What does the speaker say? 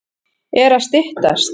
Er að styttast?